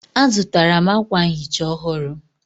Azụtara m akwa nhicha ọhụrụ